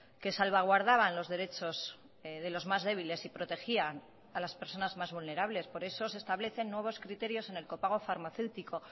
que salvaguardaban los derechos de los más débiles y protegían a las personas mas vulnerables por eso se establecen nuevos criterios en el copago farmacéutico